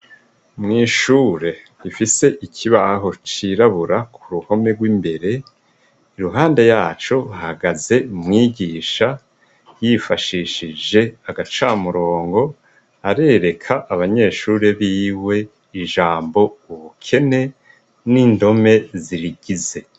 Mwishuri gifise ikibaho cirabura kuruhome rwimbere iruhande yaco hahagaze umwigisha yifashishije agacamurongo arerera abanyeshure biwe ijambo ubukene nindome zirigize.